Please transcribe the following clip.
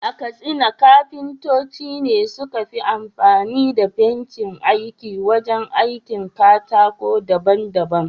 A Katsina kafintoci ne suka fi amfani da bencin aiki wajen aikin katako daban-daban.